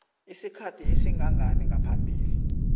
isikhathi esingangani ngaphambi